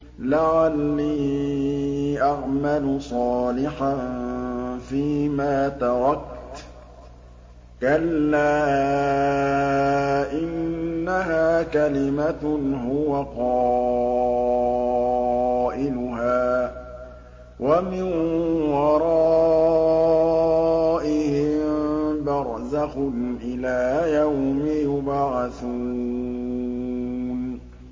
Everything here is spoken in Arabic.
لَعَلِّي أَعْمَلُ صَالِحًا فِيمَا تَرَكْتُ ۚ كَلَّا ۚ إِنَّهَا كَلِمَةٌ هُوَ قَائِلُهَا ۖ وَمِن وَرَائِهِم بَرْزَخٌ إِلَىٰ يَوْمِ يُبْعَثُونَ